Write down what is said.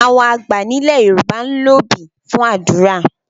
Àwọn àgbà ní ilẹ̀ Yorùbá ń lo obì fún àdúrà.